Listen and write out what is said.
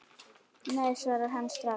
Nei svarar hann strax.